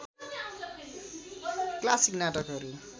classic नाटकहरू